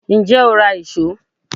Ǹjẹ́ o ra ìṣó?